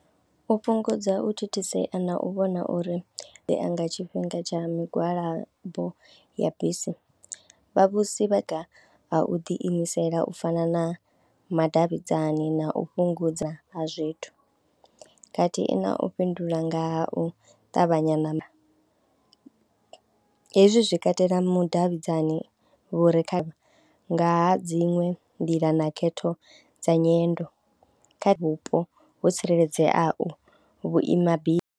U fhungudza u thithisea na u vhona uri u ya nga tshifhinga tsha migwalabo ya bisi vhavhusi vha u ḓiimisela u fana na madavhidzani na u fhungudza ha zwithu khathihi na u fhindula nga u ṱavhanyana, hezwi zwi katela mudavhidzani vhu re kha, nga ha dziṅwe nḓila na khetho dza nyendo kha vhupo ho tsireledzeaho vhuimabisi.